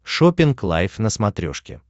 шоппинг лайв на смотрешке